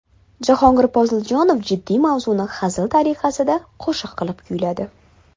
Jahongir Poziljonov jiddiy mavzuni hazil tariqasida qo‘shiq qilib kuyladi.